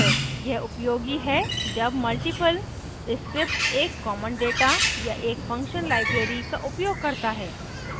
यह उपयोगी है जब multiple scripts एक common data या एक function library का उपयोग करता है